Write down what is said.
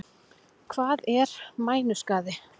Hvað er mænuskaði?